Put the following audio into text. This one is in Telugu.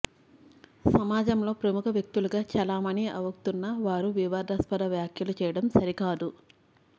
సమాజంలో ప్రముఖ వ్యక్తులుగా చెలామణి అవ్ఞతున్న వారు వివాదాస్పద వ్యాఖ్యలు చేయడం సరికాదు